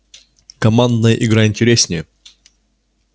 командная игра интереснее